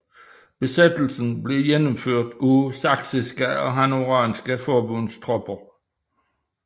Besættelsen blev gennemført af saksiske og hannoveranske forbundstropper